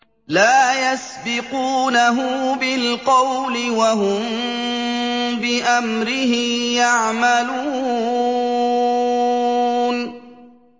لَا يَسْبِقُونَهُ بِالْقَوْلِ وَهُم بِأَمْرِهِ يَعْمَلُونَ